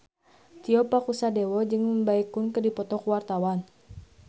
Tio Pakusadewo jeung Baekhyun keur dipoto ku wartawan